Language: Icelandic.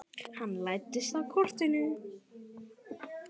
Hann læddist að kortinu.